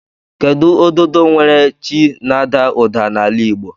Kedu ododo nwere chi na ada uda n'ala igbo?